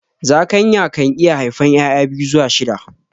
Zakayan kan iya haifan ƴaƴa biyu zuwa shida